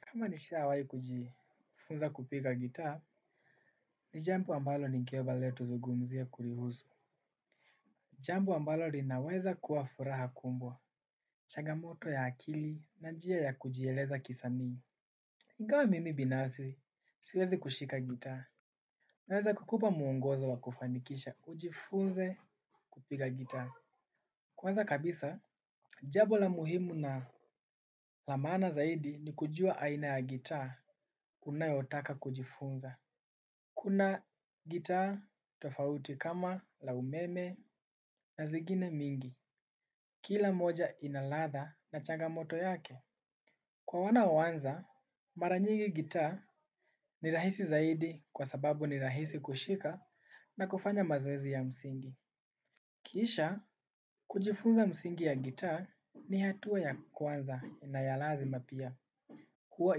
Kama nishawai kujifunza kupiga gitaa, ni jambo ambalo nikeba leto tuzugumzia kulihuzu. Jambo ambalo linaweza kuwa furaha kumbwa. Chagamoto ya akili na njia ya kujieleza kisanii. Ingawa mimi binazi, siwezi kushika gitaa. Naweza kukupa muongozo wa kufanikisha, ujifunze kupiga gitaa. Kwanza kabisa, jambo la muhimu na lamaana zaidi ni kujua aina ya gitaa, unayotaka kujifunza. Kuna gitaa tofauti kama la umeme na zigine mingi, kila moja inalatha na changamoto yake. Kwa wanao anza, maranyingi gitaa ni rahisi zaidi kwa sababu ni rahisi kushika na kufanya mazoezi ya msingi. Kisha, kujifunza msingi ya gitaa ni hatua ya kwanza na ya lazima pia. Huwa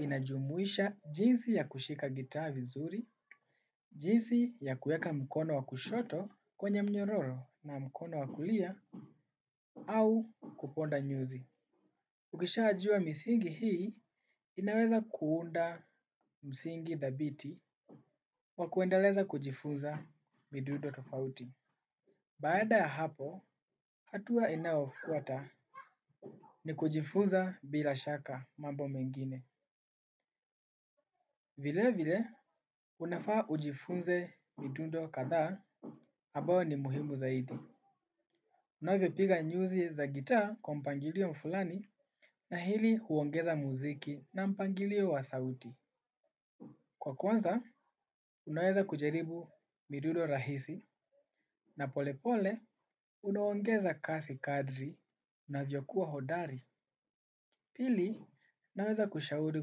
inajumuisha jinsi ya kushika gitaa vizuri, jinsi ya kueka mkono wakushoto kwenye mnyororo na mkono wakulia, au kuponda nyuzi. Ukishajua misingi hii, inaweza kuunda msingi thabiti wa kuendeleza kujifunza midundo tofauti. Baada ya hapo hatua inayofuata ni kujifunza bila shaka mambo mengine. Vile vile unafaa ujifunze midundo kathaa ambayo ni muhimu zaidi. Unavyo piga nyuzi za gitaa kwa mpangilio mfulani na hili huongeza muziki na mpangilio wa sauti. Kwa kwanza unaweza kujaribu midundo rahisi na polepole unaongeza kasi kadri unavyokuwa hodari. Pili naweza kushauri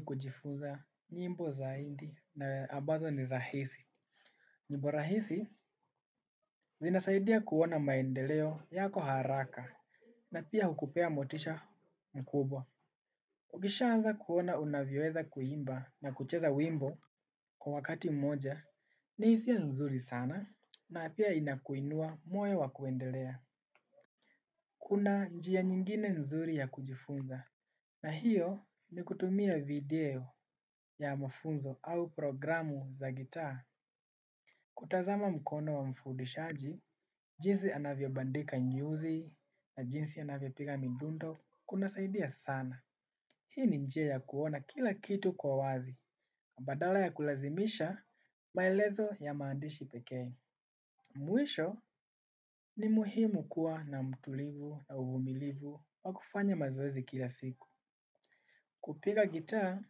kujifunza nyimbo za india na ambazo ni rahisi. Nyimbo rahisi zinasaidia kuona maendeleo yako haraka na pia hukupea motisha mkubwa. Ukishanza kuona unavyoeza kuimba na kucheza wimbo kwa wakati moja ni isia nzuri sana na pia inakuinua moyo wa kuendelea. Kuna njia nyingine nzuri ya kujifunza na hiyo ni kutumia video ya mafunzo au programu za gitaa. Kutazama mkono wa mfudishaji, jinsi anavyo bandika nyuzi na jinsi anavyo piga midundo kuna saidia sana. Hii ni njia ya kuona kila kitu kwa wazi. Badala ya kulazimisha, maelezo ya maandishi pekee. Mwisho ni muhimu kuwa na mtulivu na uvumilivu wa kufanya mazoezi kila siku. Kupiga gita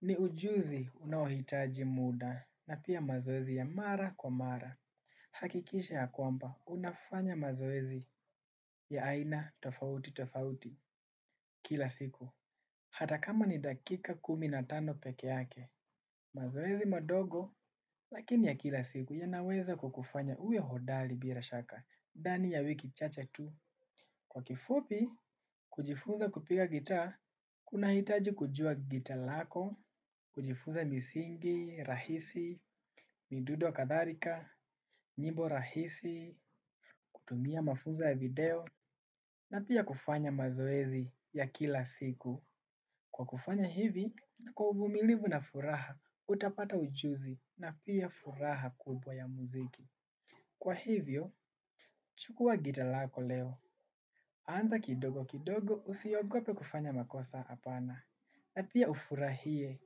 ni ujuzi unaohitaji muda na pia mazoezi ya mara kwa mara. Hakikisha ya kwamba, unafanya mazoezi ya aina tofauti tofauti kila siku. Hata kama ni dakika kuminatano peke yake. Mazoezi madogo, lakini ya kila siku yanaweza kukufanya uwe hodali bira shaka dani ya wiki chache tu. Kwa kifupi, kujifunza kupiga gita kuna hitaji kujua gita lako. Kujifunza misingi, rahisi, midudo katharika nyimbo rahisi, kutumia mafuza ya video, na pia kufanya mazoezi ya kila siku. Kwa kufanya hivi, na kwa uvumilivu na furaha, utapata ujuzi, na pia furaha kubwa ya muziki. Kwa hivyo, chukua gita lako leo. Anza kidogo kidogo usiogope kufanya makosa apana, na pia ufurahie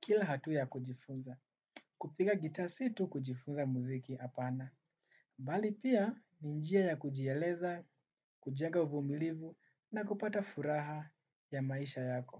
kila hatua ya kujifunza. Kupiga gita si tu kujifunza muziki apana. Bali pia ni njia ya kujieleza, kujenga uvumilivu na kupata furaha ya maisha yako.